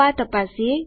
તો આ તપાસીએ